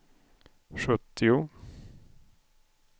sjuttio